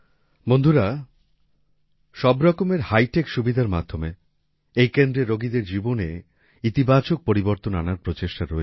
বন্ধুরা সব রকমের হাইটেক সুবিধার মাধ্যমে এই কেন্দ্রে রোগীদের জীবনে ইতিবাচক পরিবর্তন আনার প্রচেষ্টা রয়েছে